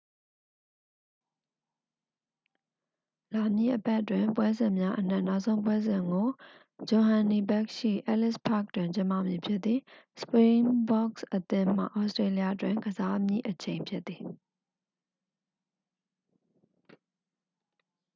လာမည့်အပတ်တွင် ပွဲစဉ်များအနက် နောက်ဆုံးပွဲစဉ်ကို johannesburg ရှိ ellis park တွင် ကျင်းပမည်ဖြစ်သည် springboks အသင်းမှ ဩစတေးလျတွင် ကစားမည့်အချိန် ဖြစ်သည်